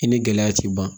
I ni gɛlɛya ti ban